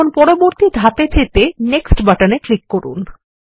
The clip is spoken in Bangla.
এখন পরবর্তী ধাপে যেতে Nextবাটনেক্লিক করুন